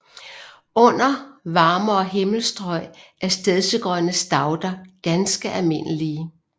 Under varmere himmelstrøg er stedsegrønne stauder ganske almindelige